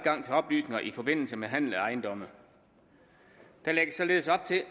til oplysninger i forbindelse med handel af ejendomme der lægges således op til at